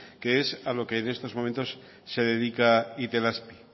que es lo que en estos momentos se dedica itelazpi